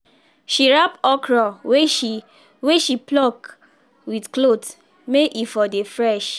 she wrap okra wey she wey she pluck with cloth may e for dey fresh